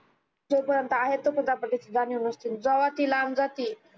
जो पर्यन्त आहे जेव्हा ती लांब जाती